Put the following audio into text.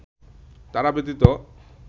তারা ব্যতীত